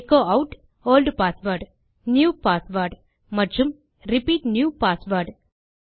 echo ஆட் old password new password மற்றும்repeat new password